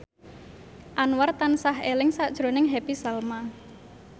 Anwar tansah eling sakjroning Happy Salma